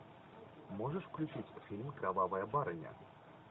можешь включить фильм кровавая барыня